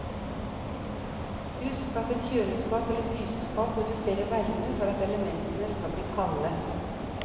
Husk at et kjøleskap eller fryseskap produserer varme for at elementene skal bli kalde.